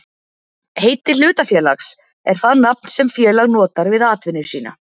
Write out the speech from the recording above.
Heiti hlutafélags er það nafn sem félag notar við atvinnu sína.